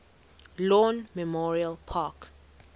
lawn memorial park